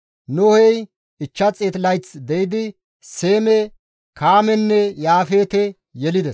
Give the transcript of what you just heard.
Nohey 500 layth de7idi Seeme, Kaamenne Yaafeete yelides.